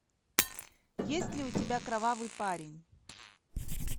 есть ли у тебя кровавый парень